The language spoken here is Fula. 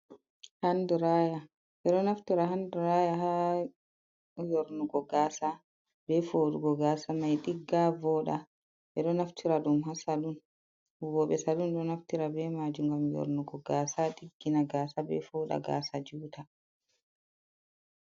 Handiraya, ɓeɗo naftira handuraya ha yornugo gasa, be foɗugo gasa mai ɗigga, voɗa. Ɓe ɗo naftira ɗum ha salun, huwoɓe salun ɗo naftira be majum ngam yornugo gaasa, ɗiggina gasa, ɓe foɗa gasa juta.